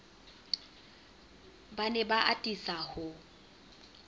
ba ne ba atisa ho